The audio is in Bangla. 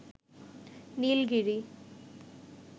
নীলগিরি